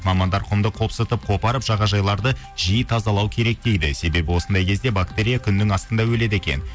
мамандар құмды қопсытып қопарып жағажайларды жиі тазалау керек дейді себебі осындай кезде бактерия күннің астында өледі екен